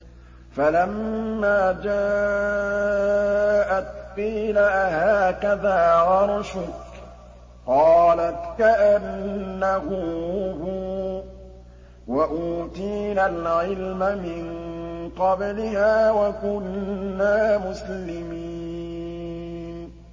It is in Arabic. فَلَمَّا جَاءَتْ قِيلَ أَهَٰكَذَا عَرْشُكِ ۖ قَالَتْ كَأَنَّهُ هُوَ ۚ وَأُوتِينَا الْعِلْمَ مِن قَبْلِهَا وَكُنَّا مُسْلِمِينَ